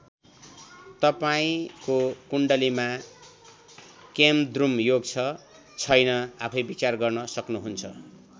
तपाईँंको कुण्डलीमा केमद्रुम योग छ छैन आफैं विचार गर्न सक्नुहुन्छ।